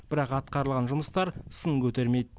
бірақ атқарылған жұмыстар сын көтермейді